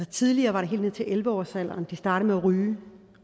tidligere var det helt ned til elleve års alderen de startede med at ryge